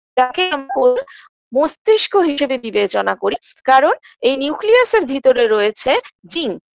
যাকে মস্তিস্ক হিসেবে বিবেচনা করি কারণ এই নিউক্লিয়াসের ভিতরে রয়েছে জিন